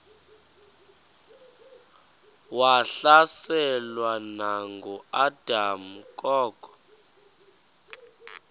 wahlaselwa nanguadam kok